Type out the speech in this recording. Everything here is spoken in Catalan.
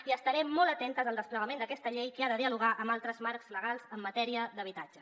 i estarem molt atentes al desplegament d’aquesta llei que ha de dialogar amb altres marcs legals en matèria d’habitatge